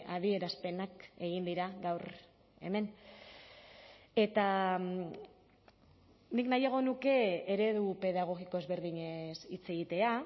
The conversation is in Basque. adierazpenak egin dira gaur hemen eta nik nahiago nuke eredu pedagogiko ezberdinez hitz egitea